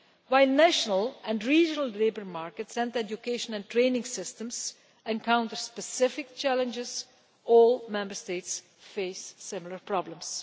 While national and regional labour markets and education and training systems encounter specific challenges, all Member States face similar problems.